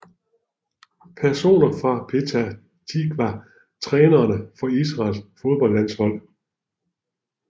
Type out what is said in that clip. Personer fra Petah Tiqwa Trænere for Israels fodboldlandshold